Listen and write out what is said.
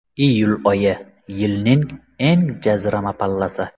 Iyul oyi... Yilning eng jazirama pallasi.